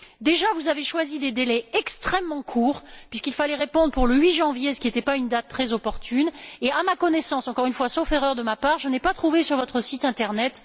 Déjà, vous avez choisi des délais extrêmement courts, puisqu'il fallait répondre pour le 8 janvier, ce qui n'était pas une date très opportune et, à ma connaissance, sauf erreur de ma part, je n'ai pas trouvé les réponses sur votre site internet.